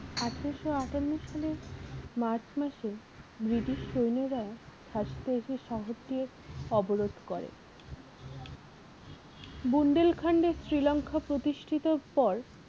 আঠারোশো আটান্ন সালে মার্চ মাসে british সৈন্যরা অবরোধ করে। বুন্দেল খন্ডে শ্রীলংকা প্রতিষ্ঠিতের পর